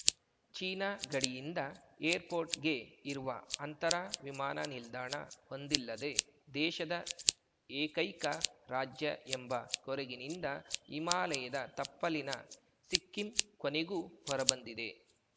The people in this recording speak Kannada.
ಚೀನಾ ಗಡಿಯಿಂದ ಏರ್‌ಪೋರ್ಟ್‌ಗೆ ಇರುವ ಅಂತರ ವಿಮಾನ ನಿಲ್ದಾಣ ಹೊಂದಿಲ್ಲದೆ ದೇಶದ ಏಕೈಕ ರಾಜ್ಯ ಎಂಬ ಕೊರಗಿನಿಂದ ಹಿಮಾಲಯದ ತಪ್ಪಲಿನ ಸಿಕ್ಕಿಂ ಕೊನೆಗೂ ಹೊರಬಂದಿದೆ